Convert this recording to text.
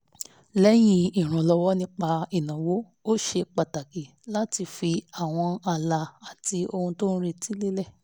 lẹ́yìn ìrànlọ́wọ́ nípa ìnáwó ó ṣe pàtàkì láti fi àwọn ààlà àti ohun tó ń retí lélẹ̀